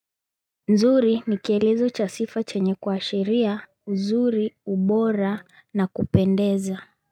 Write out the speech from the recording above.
Nzuri nikielizo chasifa chenye kuashiria, uzuri, ubora na kupendeza.